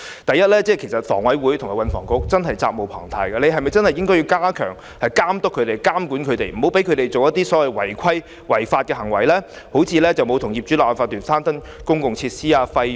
第一，房委會和運輸及房屋局責無旁貸，必須加強監督和監管領展，不應讓他們進行違規或違法行為，如沒有與業主立案法團攤分公共設施的費用。